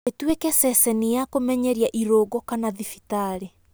" ĩtuĩke ceceni ya kũmenyeria irũngo kana thibitarĩ.